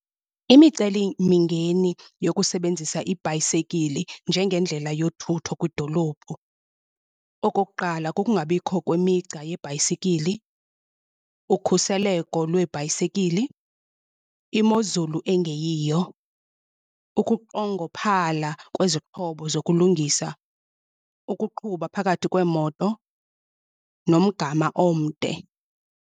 Imicelimingeni yokusebenzisa ibhayisekili njengendlela yothutho kwidolophu. Okokuqala, kukungabikho kwemigca yebhayisikili, ukhuseleko lweebhayisekili, imozulu engeyiyo, ukunqongophala kwezixhobo zokulungisa, ukuqhuba phakathi kweemoto nomgama omde.